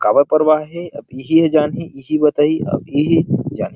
कावा करवाए हे अब इहि जानही इहि बताही अब इहि जानही